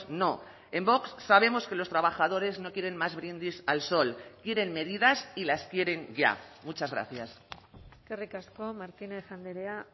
no en vox sabemos que los trabajadores no quieren más brindis al sol quieren medidas y las quieren ya muchas gracias eskerrik asko martínez andrea